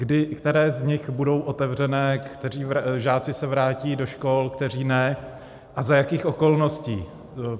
Které z nich budou otevřené, kteří žáci se vrátí do škol, kteří ne, a za jakých okolností?